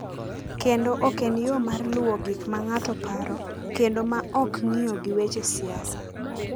kendo ok en yo mar luwo gik ma ng’ato paro kendo ma ok ng’iyo gi weche siasa.